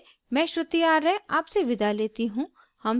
I I T Bombay से मैं श्रुति आर्य आपसे विदा लेती हूँ